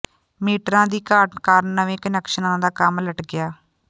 ਮੀਟਰਾਂ ਦੀ ਘਾਟ ਕਾਰਨ ਨਵੇਂ ਕੁਨੈਕਸ਼ਨਾਂ ਦਾ ਕੰਮ ਲਟਕਿਆ